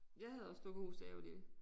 Jeg havde også dukkehus da jeg var lille